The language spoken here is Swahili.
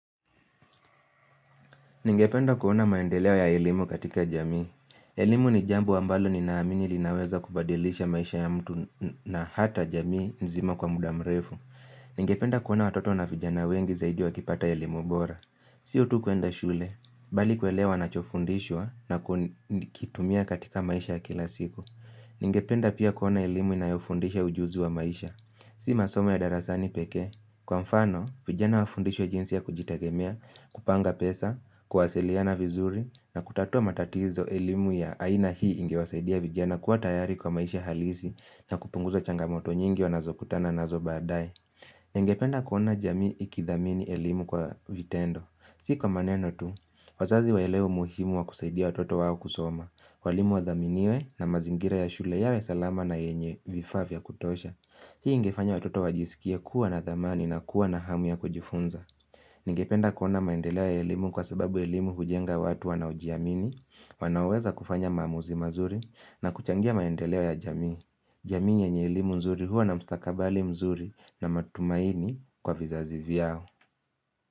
Ningependa kuona maendeleo ya elimu katika jamii. Elimu ni jambo ambalo ninaamini linaweza kubadilisha maisha ya mtu na hata jamii nzima kwa muda mrefu. Ningependa kuona watoto na vijana wengi zaidi wakipata elimu bora. Sio tu kuenda shule, bali kuelewa wanachofundishwa na kukitumia katika maisha kila siku. Ningependa pia kuona elimu inayofundisha ujuzi wa maisha. Si masomo ya darasani peke. Kwa mfano, vijana wafundishwa jinsi ya kujitegemea, kupanga pesa, kuwasiliana vizuri na kutatua matatizo elimu ya aina hii ingewasaidia vijana kuwa tayari kwa maisha halisi na kupunguza changamoto nyingi wanazokutana nazo baadae. Ningependa kuona jamii ikithamini elimu kwa vitendo. Si kwa maneno tu, wazazi waelewe umuhimu wa kusaidia watoto wao kusoma, walimu wa dhaminiwe na mazingira ya shule yawe salama na yenye vifaa vya kutosha. Hii ingefanya watoto wajisikie kuwa na thamani na kuwa na hamu ya kujifunza. Ningependa kuona maendeleo ya elimu kwa sababu elimu hujenga watu wanaojiamini, wanaoweza kufanya maamuzi mazuri na kuchangia maendeleo ya jamii. Jamii yenye elimu mzuri huwa na mstakabali mzuri na matumaini kwa vizazi vyao.